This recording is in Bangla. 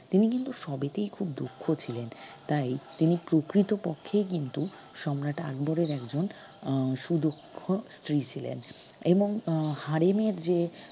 তিনি কিন্তু সবইতেই খুব দক্ষ ছিলেন তাই তিনি প্রকৃতপক্ষেই কিন্তু সম্রাট আকবরের একজন আহ সুদক্ষ স্ত্রী ছিলেন এবং আহ হারেমের যে